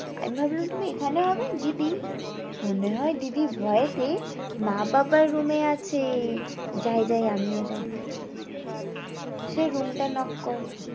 আমি ভাবলাম তুমি এখানে হবে দিদি, মনে হঁয় দিদি ভয়তে মা বাবার room এ আছে যাই যাই আমি ও যাই সে room টা knock করে